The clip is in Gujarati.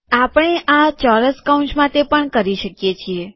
આપણે આ ચોરસ કૌંસ માટે પણ કરી શકીએ છીએ